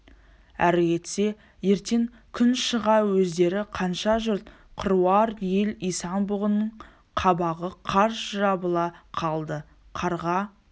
әрі кетсе ертең күн шыға өздері қанша жұрт қыруар ел исан-бұғының қабағы қарс жабыла қалды қарға